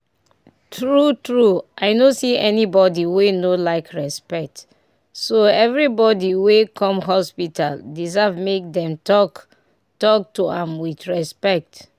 true true i no see anybody wey no like respect so every body way come hospital deserve make dem talk talk to am with respect.